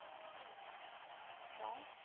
ਕਿਓ